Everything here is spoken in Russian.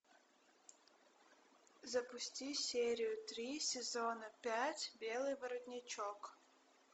запусти серию три сезона пять белый воротничок